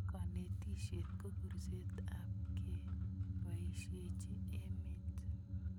Kanetisyet ko kurset ap kepoisyechi emet